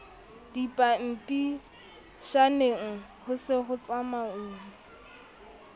dipampitshaneng ho se ho tsamauwa